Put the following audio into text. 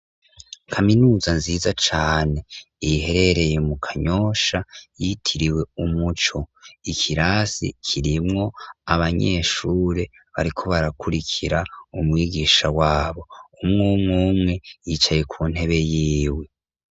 Kaminuza nziza cane, iherereye mu Kanyosha, yitiriwe Umuco, ikirase kirimwo abanyeshure bariko barakurikira umwugisha wabo, umw'umw'umwe yicaye kuntebe yiwe.